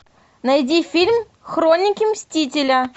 найди фильм хроники мстителя